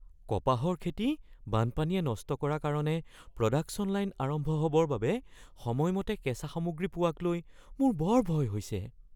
কপাহৰ খেতি বানপানীয়ে নষ্ট কৰা কাৰণে প্ৰডাকচন লাইন আৰম্ভ হ’বৰ বাবে সময়মতে কেঁচা সামগ্ৰী পোৱাক লৈ মোৰ ভয় হৈছে।